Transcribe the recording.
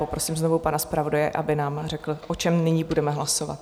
Poprosím znovu pana zpravodaje, aby nám řekl, o čem nyní budeme hlasovat.